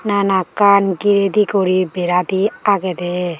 nanakkan gire di gori beradi agedey.